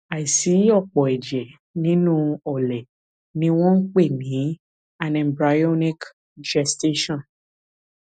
àìsí òpó ẹjẹ nínú ọlẹ ni wọn ń pè ní anembryonic gestation